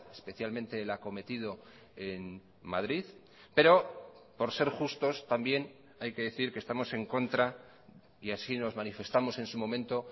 especialmente el acometido en madrid pero por ser justos también hay que decir que estamos en contra y así nos manifestamos en su momento